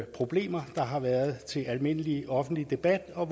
problemer der har været til almindelig offentlig debat og